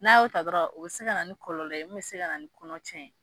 N'a y'o ta dɔrɔn o be se ka na ni kɔlɔlɔ ye min be se ka na ni kɔnɔ cɛn ye